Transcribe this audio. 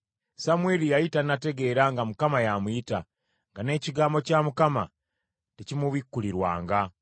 Samwiri yali tannategeera nga Mukama y’amuyita, nga n’ekigambo kya Mukama tekimubikkulirwanga.